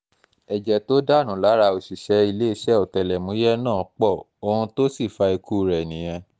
ẹ̀jẹ̀ tó dànù lára òṣìṣẹ́ iléeṣẹ́ ọ̀tẹlẹ̀múyẹ́ náà pọ̀ ohun tó sì um fa ikú rẹ̀ nìyẹn um